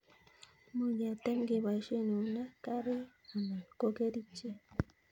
Much ketem keboishe eunek ,karik anan ko kerichek